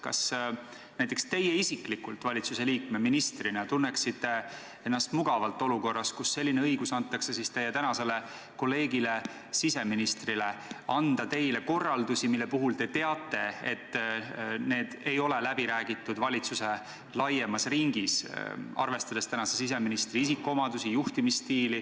Kas teie isiklikult valitsusliikme, ministrina tunneksite ennast praeguse siseministri isikuomadusi ja juhtimisstiili arvestades mugavalt olukorras, kus teie tänasele kolleegile siseministrile on antud õigus anda teile korraldusi, mille puhul te teate, et need ei ole läbi räägitud valitsuse laiemas ringis?